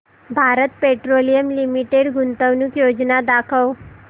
Bharat Petroleum Limited गुंतवणूक योजना दाखव